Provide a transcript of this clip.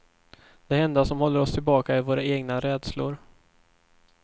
Det enda som håller oss tillbaka är våra egna rädslor.